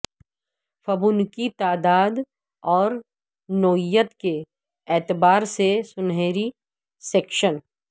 Fibonacci تعداد اور نوعیت کے اعتبار سے سنہری سیکشن